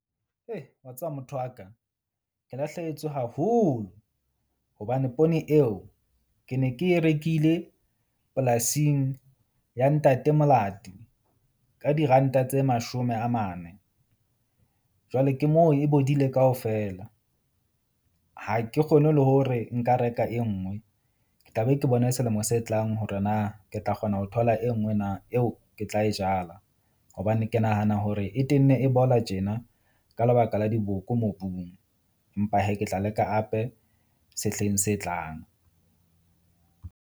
Wa tseba motho wa ka, ke lahlehetswe haholo hobane poone eo ke ne ke e rekile polasing ya Ntate Molati ka diranta tse mashome a mane. Jwale ke moo e bodile kaofela. Ha ke kgone le hore nka reka e nngwe. Ke tla be ke bone selemo se tlang hore na ke tla kgona ho thola e nngwe na, eo ke tla e jala hobane ke nahana hore e tenne e bola tjena ka lebaka la diboko mobung. Empa hee ke tla leka hape sehleng se tlang.